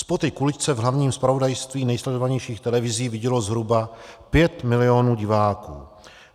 Spoty k uličce v hlavním zpravodajství nejsledovanějších televizí vidělo zhruba 5 mil. diváků.